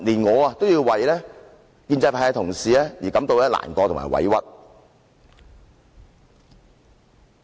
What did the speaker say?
我也為建制派同事感到難過和委屈。